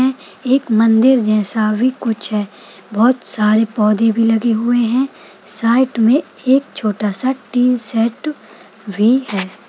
एक मंदिर जैसा भी कुछ है बहुत सारे पौधे भोई लगे हुए हैं साइड में एक छोटा सा टी सेट भी है।